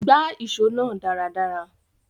Gbá ìso náà dáradára